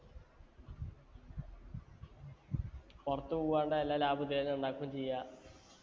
പൊറത്ത് പോവാണ്ട് എല്ലാ ലാഭു വേഗോ ഉണ്ടാക്കും ചെയ്യാ